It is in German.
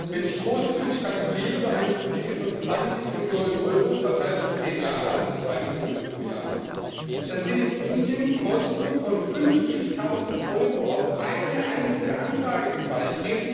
Wenn ich großzügig kalkuliere, bei einem Budget von 20Millionen Euro verteilt auf zehn Jahre, also 2 Millionen pro Jahr, dann sind in Indien Kosten von 50000 Euro auf eine einzige Anfrage entfallen.